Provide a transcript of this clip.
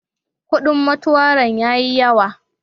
Kudin motuarin ya yi yawa.